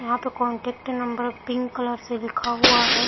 यहाँ पे contact number pink colour से लिखा हुआ है।